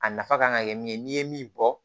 A nafa kan ka kɛ min ye n'i ye min bɔ